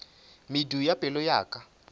medu ya pelo ya ka